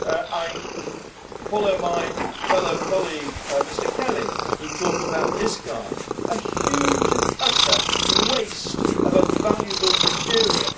I follow my fellow colleague, Mr Kelly, who talked about discards a huge and utter waste of a valuable material.